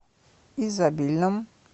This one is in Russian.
изобильном